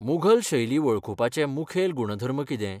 मुघल शैली वळखुपाचे मुखेल गुणधर्म कितें?